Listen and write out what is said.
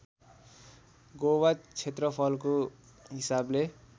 गोवा क्षेत्रफलको हिसाबले